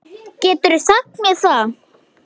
Geturðu sagt mér það?